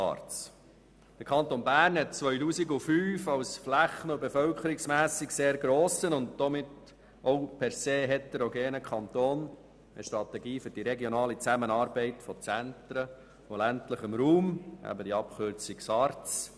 Im Jahr 2005 hat der Kanton Bern als flächen- und bevölkerungsmässig sehr grosser und heterogener Kanton eine Strategie für die regionale Zusammenarbeit von Zentren und ländlichem Raum entwickelt, die SARZ.